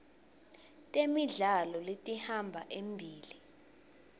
temidlalo letihamba embili